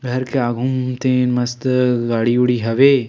घर के आघू म हे तेन मस्त गाड़ी उड़ी हवे।